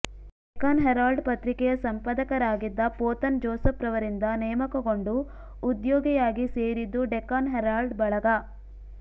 Deccan Herald ಪತ್ರಿಕೆಯ ಸಂಪದಕರಾಗಿದ್ದ ಪೋತನ್ ಜೋಸಫ್ವರರಿಂದ ನೇಮಕಗೊಂಡು ಉದ್ಯೋಗಿಯಾಗಿ ಸೇರಿದ್ದು ಡೆಕ್ಕನ್ ಹೆರಾಲ್ಡ್ ಬಳಗ